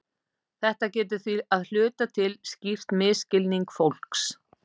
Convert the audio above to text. Þetta getur því að hluta til skýrt misskilning fólks.